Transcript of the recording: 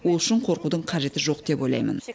ол үшін қорқудың қажеті жоқ деп ойлаймын